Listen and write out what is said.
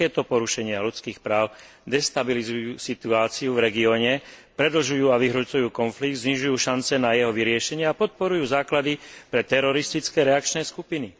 Takéto porušenia ľudských práv destabilizujú situáciu v regióne, predlžujú a vyhrocujú konflikt, znižujú šance na jeho vyriešenie a podporujú základy pre teroristické reakčné skupiny.